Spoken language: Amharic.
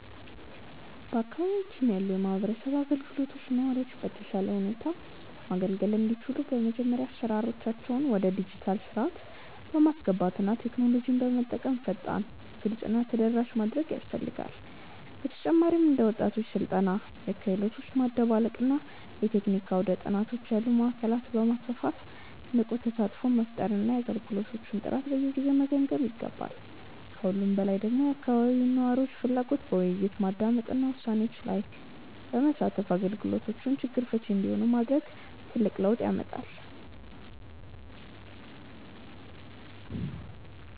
በአካባቢያችን ያሉ የማህበረሰብ አገልግሎቶች ነዋሪዎችን በተሻለ ሁኔታ ማገልገል እንዲችሉ በመጀመሪያ አሰራሮቻቸውን ወደ ዲጂታል ሥርዓት በማስገባትና ቴክኖሎጂን በመጠቀም ፈጣን፣ ግልጽ እና ተደራሽ ማድረግ ያስፈልጋል። በተጨማሪም እንደ ወጣቶች ስልጠና፣ የክህሎት ማደባለቅ እና የቴክኒክ አውደ-ጥናቶች ያሉ ማዕከላትን በማስፋፋት ንቁ ተሳትፎ መፍጠርና የአገልግሎቶቹን ጥራት በየጊዜው መገምገም ይገባል። ከሁሉም በላይ ደግሞ የአካባቢውን ነዋሪዎች ፍላጎት በውይይት በማዳመጥና ውሳኔዎች ላይ በማሳተፍ አገልግሎቶቹ ችግር ፈቺ እንዲሆኑ ማድረግ ትልቅ ለውጥ ያመጣል።